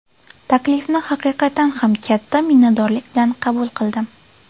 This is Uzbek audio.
Taklifni haqiqatan ham katta minnatdorlik bilan qabul qildim.